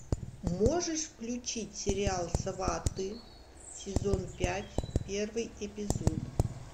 можешь включить сериал сваты сезон пять первый эпизод